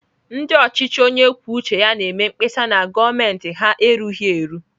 Ndị ọchịchị onye kwuo uche ya na-eme mkpesa na gọọmentị ha erughị eru.